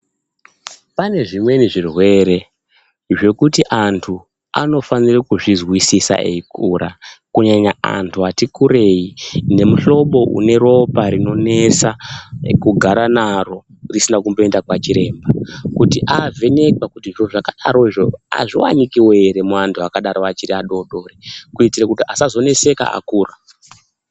Pane zvimweni zvirwere zvekuti antu anofane kuzvizwisisa eikura, kunyanya antu atikurei neantu anemuhlobo weropa rinonesa kugara naro risina kumboenda naro kwachiremba kuti ovhenekwa kuti zviro zvakadarozvo azviwanikwiwo ere muantu akadaro achiri adodori kuti asazoneseka akura.